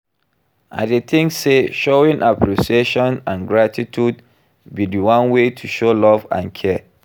I dey think say showing appreciation and gratitude be di one way to show love and care.